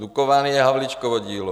Dukovany je Havlíčkovo dílo.